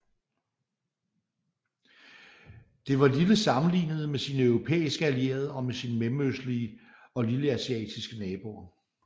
Det var lille sammenlignet med sine europæiske allierede og med sine mellemøstlige og lilleasiatiske naboer